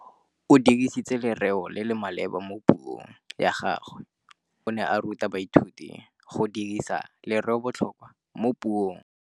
O dirisitse lerêo le le maleba mo puông ya gagwe. Morutabana o ne a ruta baithuti go dirisa lêrêôbotlhôkwa mo puong.